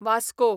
Vasco